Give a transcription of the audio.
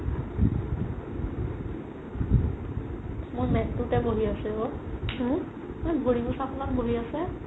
মোৰ মেত তোতে বহি আছে ঔ মোৰ ভৰি মোচাখনত বহি আছে